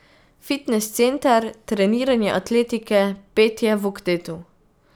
Fitnes center, treniranje atletike, petje v oktetu.